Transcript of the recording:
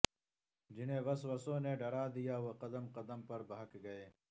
جنہیں وسوسوں نے ڈرا دیا وہ قدم قدم پر بہک گئے